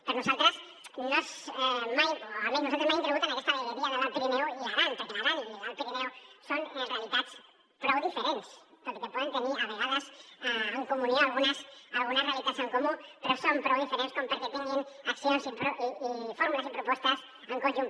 per nosaltres no és mai o almenys nosaltres mai hem cregut en aquesta vegueria de l’alt pirineu i l’aran perquè l’aran i l’alt pirineu són realitats prou diferents tot i que poden tenir a vegades en comunió algunes realitats en comú però són prou diferents com perquè tinguin accions i fórmules i propostes en conjunt